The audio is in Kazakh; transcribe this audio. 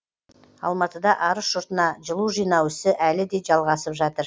алматыда арыс жұртына жылу жинау ісі әлі де жалғасып жатыр